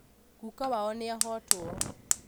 guka wao nĩahotwo